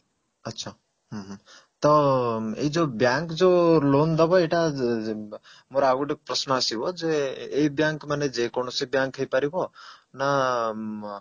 ଆଚ୍ଛା ହୁଁ ହୁଁ ତ ଏଇ ଯଉ bank ଯୋ loan ଦବ ଏଇଟା ଯ ମୋର ଆଉ ଗୋଟେ ପ୍ରଶ୍ନ ଆସିବ ଯେ ଏଇ bank ମାନେ ଯେକୌଣସି bank ହେଇପାରିବ ନା ମ